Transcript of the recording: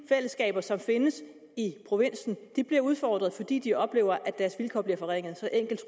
fællesskaber som findes i provinsen bliver udfordret fordi de oplever at deres vilkår bliver forringet så enkelt